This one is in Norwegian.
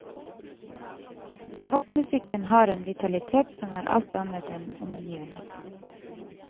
Popmusikken har en vitalitet som er alt annet enn omgivende.